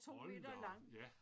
Hold da op ja